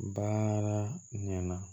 Bara ɲɛna ɲana